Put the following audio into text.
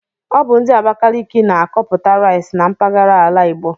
Ọ bu ndi Abakaliki na-akọputa rice na mpaghara ala Igbo